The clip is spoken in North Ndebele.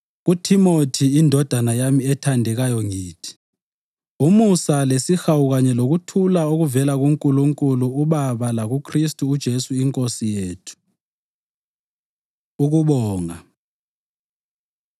KuThimothi, indodana yami ethandekayo ngithi: Umusa lesihawu kanye lokuthula okuvela kuNkulunkulu uBaba lakuKhristu uJesu iNkosi yethu. Ukubonga